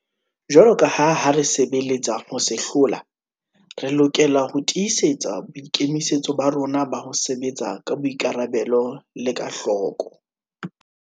Jwaloka ha re sebeletsa ho se hlola, re lokela ho tii setsa boikemisetso ba rona ba ho sebetsa ka boikarabelo le ka hloko.